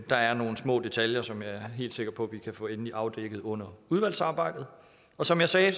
der er nogle små detaljer som jeg er helt sikker på vi kan få endelig afdækket under udvalgsarbejdet og som jeg sagde